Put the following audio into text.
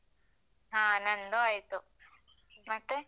ಹಾ ನಂದೂ ಆಯ್ತು, ಮತ್ತೆ?